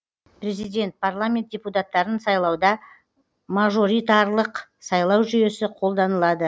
президент парламент депутаттарын сайлауда мажоритарлық сайлау жүйесі қолданылады